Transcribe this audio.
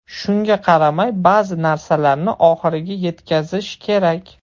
Shunga qaramay, ba’zi narsalarni oxiriga yetkazish kerak.